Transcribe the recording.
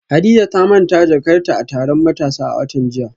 Hadiza ta manta jakarta a taron matasa a watan jiya